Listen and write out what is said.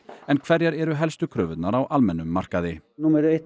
en hverjar eru helstu kröfurnar á almennum markaði númer eitt